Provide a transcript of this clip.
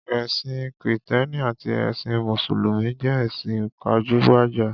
Ẹ̀sìn Kìtẹ́ẹ́nì àti ẹsìn Mùsùlùmí jẹ́ ẹ̀sìn pajúgbajà.